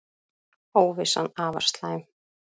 Óvissan afar slæm